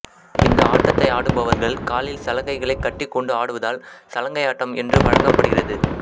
இந்த ஆட்டத்தை ஆடுபவர்கள் காலில் சலங்கைகளை கட்டிக்கொண்டு ஆடுவதால் சலங்கையாட்டம் என்று வழங்கப்படுகிறது